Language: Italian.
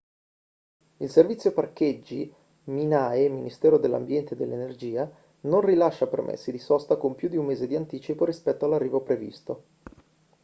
il servizio parcheggi minae - ministero dell'ambiente e dell'energia non rilascia permessi di sosta con più di un mese di anticipo rispetto all'arrivo previsto